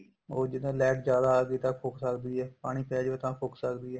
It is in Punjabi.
ਉਹ ਜਿੱਦਾਂ light ਜਿਆਦਾ ਆ ਗਈ ਤਾਂ ਫੂਕ ਸਕਦੀ ਏ ਪਾਣੀ ਪੈ ਜਾਵੇ ਤਾਂ ਫੂਕ ਸਕਦੀ ਏ